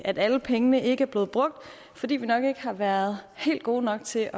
at alle pengene ikke er blevet brugt fordi vi nok ikke har været helt gode nok til